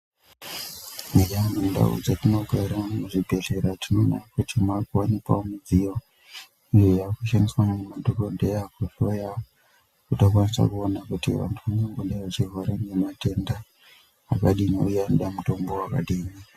Eya mundau dzatinogara muzvibhedhlera tinoone kuti maakuwanikwawo midziyo iyo yaakushandiswa nemadhogodheya kuhloya kuti akwanise kuona kuti vantu vangangodai vachirwara ngematenda akadini uye kuti anoda mutombo wakadini.